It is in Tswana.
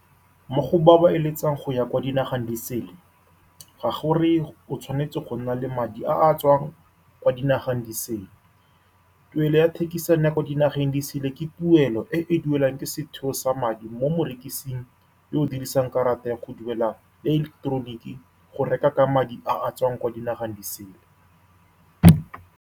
Mo go ba ba eletsang go ya kwa dinageng di sele, ga go reye o tshwanetse go nna le madi a a tswang kwa dinageng di sele. Tuelo ya thekisano ya kwa dinageng di sele ke tuelo e e duelwang ke setheo sa madi mo morekising yo o dirisang karata ya go duela ileketeroniki, go reka ka madi a a tswang kwa dinageng di sele.